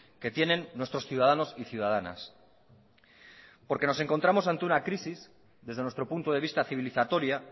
que tienen nuestros ciudadanos y ciudadanas porque nos encontramos ante una crisis desde nuestro punto de vista civilizatoria